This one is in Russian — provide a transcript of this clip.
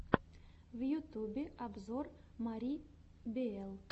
в ютубе обзор мари биэл